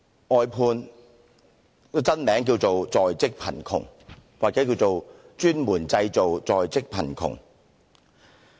外判的真名叫作"在職貧窮"或"專門製造在職貧窮"。